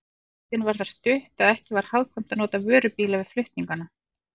Leiðin var það stutt, að ekki var hagkvæmt að nota vörubíla við flutningana.